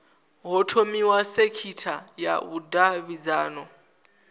ho thomiwa sekitha ya vhudavhidzano